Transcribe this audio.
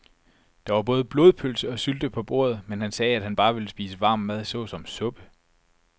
Der var både blodpølse og sylte på bordet, men han sagde, at han bare ville spise varm mad såsom suppe.